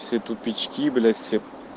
все тупички блять все